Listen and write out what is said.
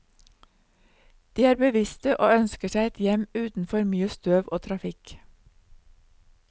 De er bevisste og ønsker seg et hjem uten for mye støv og trafikk.